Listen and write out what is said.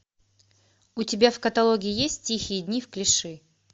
у тебя в каталоге есть тихие дни в клиши